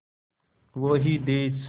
वो ही देस